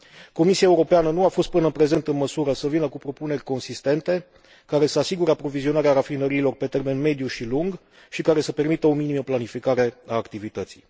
Comisia Europeană nu a fost până în prezent în măsură să vină cu propuneri consistente, care să asigure aprovizionarea rafinăriilor pe termen mediu și lung și care să permită o minimă planificare a activității.